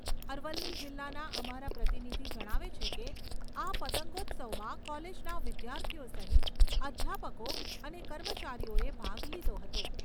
અરવલ્લી જિલ્લાના અમારા પ્રતિનિધિ જણાવે છે કે આ પતંગોત્સવમાં કોલેજના વિધાર્થીઓ સહીત અધ્યાપકો અને કર્મચારીઓએ ભાગ લીધો હતો.